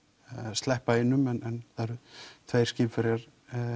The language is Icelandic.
sleppa einum en það eru tveir skipverjar